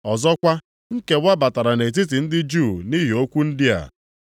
Ọzọkwa, nkewa batara nʼetiti ndị Juu nʼihi okwu ndị a.